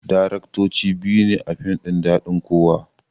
Daraktoci biyu ne a fim ɗin daɗin kowa